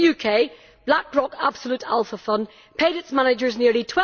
In the UK Black Rock Absolute Alpha Fund paid its managers nearly